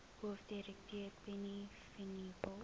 hoofdirekteur penny vinjevold